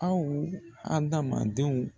Aw adamadenw